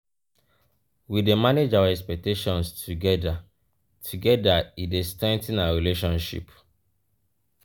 we dey manage our expectations together together e dey strengthen our relationship.